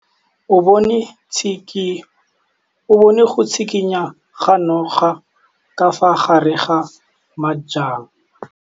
O bone go tshikinya ga noga ka fa gare ga majang.